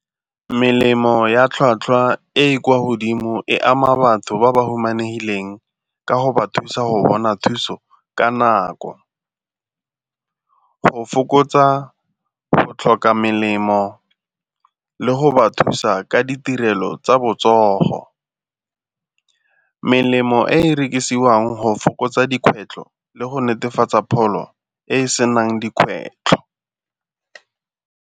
Melemo ya tlhwatlhwa e e kwa godimo e ama batho ba ba humanegileng ka go ba thusa go bona thuso ka nako. Go fokotsa go tlhoka melemo le go ba thusa ka ditirelo tsa botsogo, melemo e e rekisiwang go fokotsa dikgwetlho le go netefatsa pholo e e senang dikgwetlho.